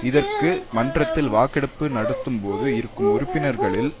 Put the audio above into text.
இதற்கு மன்றத்தில் வாக்கெடுப்பு நடத்தும் போது இருக்கும் உறுப்பினர்களில்